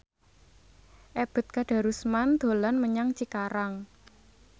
Ebet Kadarusman dolan menyang Cikarang